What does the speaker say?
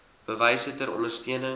bewyse ter ondersteuning